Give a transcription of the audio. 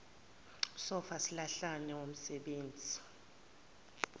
sofa silahlane womsebenzi